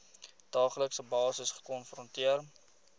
daaglikse basis gekonfronteer